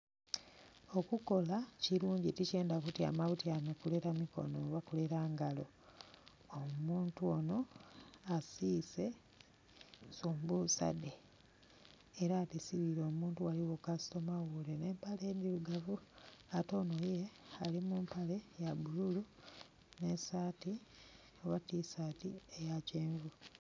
Okukola kilungi tikyendha kutyama butyame kulera mikono oba kulera ngalo. Omuntu ono asiise sumbusa dhe era adhisibire omuntu kasitoma ghule ne mpale ndhirugavu, ate ono ye ali mu mpale ya bululu nh'esaati oba tisati eya kyenvu.